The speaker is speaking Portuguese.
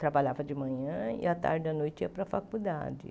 Trabalhava de manhã e à tarde e à noite ia para a faculdade.